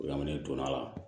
Lamini donna a la